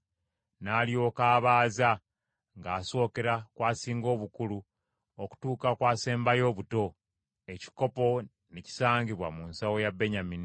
N’alyoka abaaza ng’asookera ku asinga obukulu okutuuka ku asembayo obuto; ekikopo ne kisangibwa mu nsawo ya Benyamini.